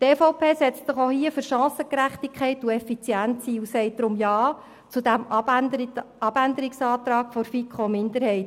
Die EVP setzt sich auch hier für Chancengerechtigkeit und Effizienz ein und sagt deshalb Ja zum Abänderungsantrag der FiKoMinderheit.